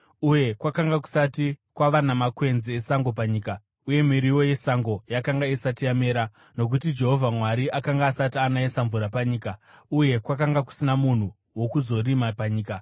uye kwakanga kusati kwava namakwenzi esango panyika, uye miriwo yesango yakanga isati yamera, nokuti Jehovha Mwari akanga asati anayisa mvura panyika uye kwakanga kusina munhu wokuzorima panyika,